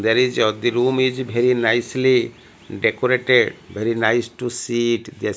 there is at the room is very nicely decorated very nice to see it the --